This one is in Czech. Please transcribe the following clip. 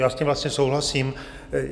Já s tím vlastně souhlasím.